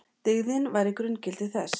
Dyggðin væri grunngildi þess.